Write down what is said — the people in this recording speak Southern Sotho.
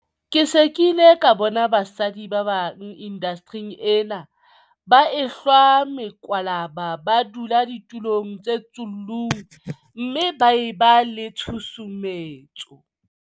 Ke se ke ile ka bona basadi ba bang indastering ena ba ehlwa mekwalaba ba dula ditulong tse tsullung mme ba e ba le tshusumetso.